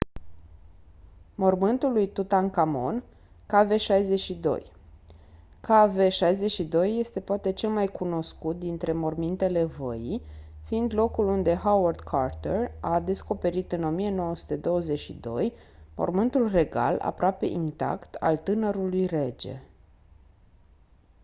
mormântul lui tutankhamon kv62. kv62 este poate cel mai cunoscut dintre mormintele văii fiind locul unde howard carter a descoperit în 1922 mormântul regal aproape intact al tânărului rege